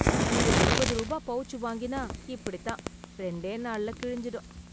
இந்த இருபது ரூபா பெளச்சு வாங்கினா இப்படித் தான். ரெண்டே நாள்ல கிழிஞ்சிடும்.